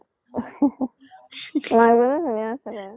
মাক জনীও ধুনীয়া আছিলে।